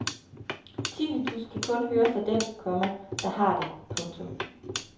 Tinnitus kan kun høres af den, komma der har det. punktum